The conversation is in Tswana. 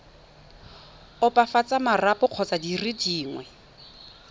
opafatsa marapo kgotsa dire dingwe